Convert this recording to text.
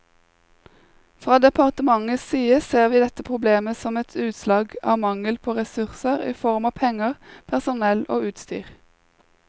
Fra departementets side ser vi dette problemet som et utslag av mangel på ressurser i form av penger, personell og utstyr.